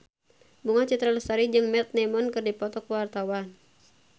Bunga Citra Lestari jeung Matt Damon keur dipoto ku wartawan